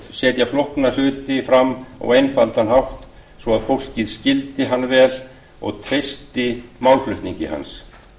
setja flókna hluti fram á einfaldan hátt svo að fólk skildi hann vel og treysti málflutningi hans